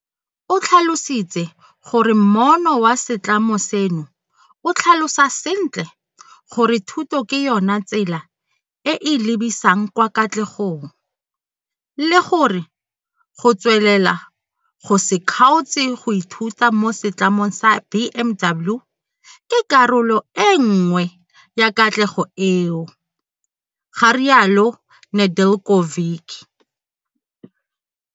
O tlhalositse gore moono wa setlamo seno o tlhalosa sentle gore thuto ke yona tsela e e lebisang kwa katlegong, le gore go tswelela go se kgaotse go ithuta mo Setlamong sa BMW ke karolo e nngwe ya katlego eo, ga rialo Nedeljkovic.